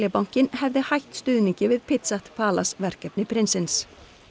bankinn hefði hætt stuðningi við PitchPalace verkefni prinsins